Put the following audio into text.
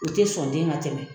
U te sɔn den ka tɛmɛ.